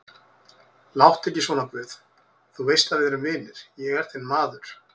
Láttu ekki svona guð, þú veist að við erum vinir, ég er þinn maður.